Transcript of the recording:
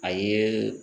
A ye